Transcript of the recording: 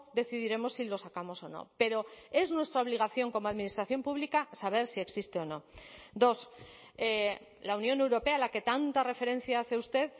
decidiremos si lo sacamos o no pero es nuestra obligación como administración pública saber si existe o no dos la unión europea a la que tanta referencia hace usted